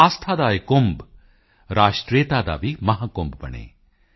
ਆਸਥਾ ਕਾ ਯਹ ਕੁੰਭ ਰਾਸ਼ਟਰੀਯਤਾ ਕਾ ਭੀ ਮਹਾਕੁੰਭ ਬਨੇ